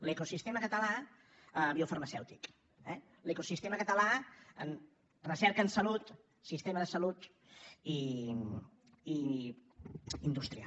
l’ecosistema català biofarmacèutic eh l’ecosistema català en recerca en salut sistema de salut i indústria